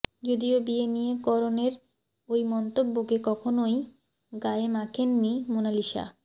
যদিও বিয়ে নিয়ে করণের ওই মন্তব্যকে কখনওই গায়ে মাখেননি মোনালিসা